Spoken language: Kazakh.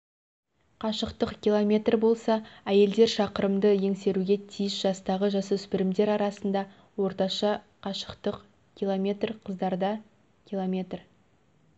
қашықтық километр болса әйелдер шақырымды еңсеруге тиіс жастағы жасөспірімдер арасында орташа қашықтық км қыздарда км